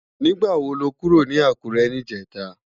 Nigbá wo ló kúró ni Akure nijètá?